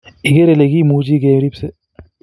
ikeree ile kimuchi kirepsee